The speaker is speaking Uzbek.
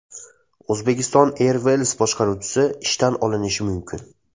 Uzbekistan Airways boshqaruvchisi ishdan olinishi mumkin.